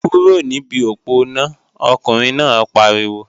Kúrò níbi òponá, ọkùnrin náà pariwo!